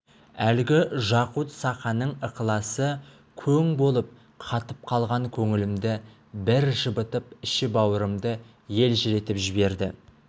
әлгі жақут-саханың ықыласы көң болып қатып қалған көңілімді бір жібітіп іші-бауырымды елжіретіп жіберді